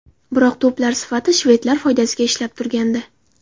Biroq to‘plar nisbati shvedlar foydasiga ishlab turgandi.